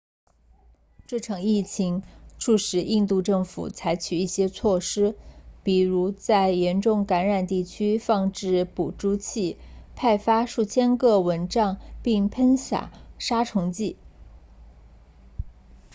这场疫情促使印度政府采取一些措施比如在严重感染地区放置捕猪器派发数千个蚊帐并喷洒杀虫剂